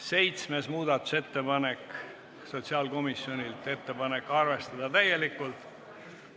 Seitsmes muudatusettepanek on sotsiaalkomisjonilt, ettepanek on arvestada täielikult.